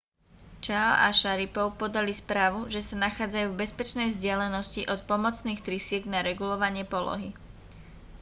chiao a sharipov podali správu že sa nachádzajú v bezpečnej vzdialenosti od pomocných trysiek na regulovanie polohy